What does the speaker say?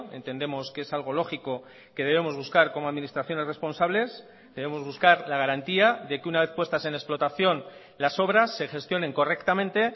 entendemos que es algo lógico que debemos buscar como administraciones responsables debemos buscar la garantía de que una vez puestas en explotación las obras se gestionen correctamente